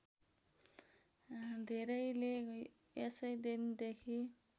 धेरैले यसै दिनदेखि